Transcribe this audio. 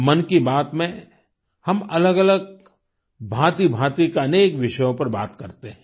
मन की बात में हम अलगअलग भांतिभांति के अनेक विषयों पर बात करते हैं